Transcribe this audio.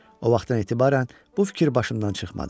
O vaxtdan etibarən bu fikir başımdan çıxmadı.